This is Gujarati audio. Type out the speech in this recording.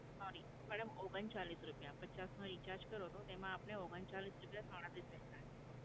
sorry madam, ઓગણ ચાલ્લીસ રૂપયા. પચાસનો recharge કરો, તો તેમાં આપને ઓગણ ચાલ્લીસ રૂપયા, તો આ રીતે થાય.